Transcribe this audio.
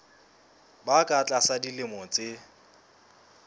ba ka tlasa dilemo tse